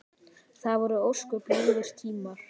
Það voru ósköp ljúfir tímar.